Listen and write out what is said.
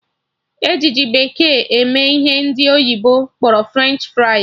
E ji ji bekee eme ihe ndị oyibo kpọrọ French fries